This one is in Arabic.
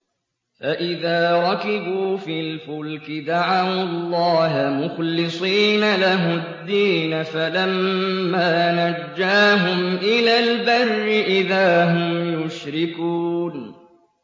فَإِذَا رَكِبُوا فِي الْفُلْكِ دَعَوُا اللَّهَ مُخْلِصِينَ لَهُ الدِّينَ فَلَمَّا نَجَّاهُمْ إِلَى الْبَرِّ إِذَا هُمْ يُشْرِكُونَ